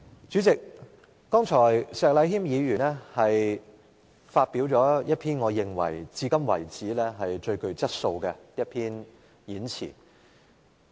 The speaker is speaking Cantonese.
主席，石禮謙議員剛才發表了一篇我認為是至今最具質素的演辭。